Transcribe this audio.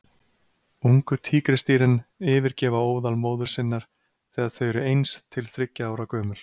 Ungu tígrisdýrin yfirgefa óðal móður sinnar þegar þau eru eins til þriggja ára gömul.